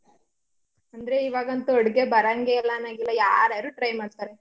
ಅಂದ್ರೆ ಇವಾಗಂತೂ ಅಡ್ಗೆ ಬರಂಗೇ ಇಲ್ಲಾ ಅನ್ನಂಗಿಲ್ಲ ಯಾರ್ಯಾರು try ಮಾಡ್ತಾರೆ.